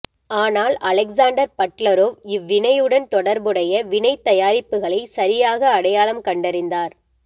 ஆனால் Alexander Butlerov இவ்வினையுடன் தொடர்புடைய வினைத் தயாரிப்புகளை சரியாக அடையாளம் கண்டறிந்தார்